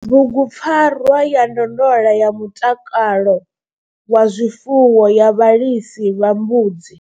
Bugupfarwa ya ndondolo ya mutakalo wa zwifuwo ya vhalisa vha mbudzi.